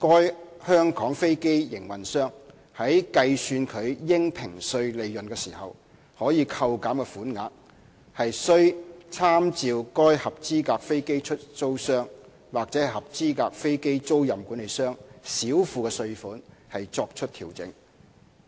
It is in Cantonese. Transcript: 該香港飛機營運商在計算其應評稅利潤時，可以扣減的款額，需參照該合資格飛機出租商或合資格飛機租賃管理商少付的稅款作出調整。